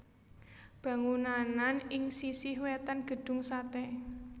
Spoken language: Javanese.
Bangunanan ing sisih wètan Gedung Sate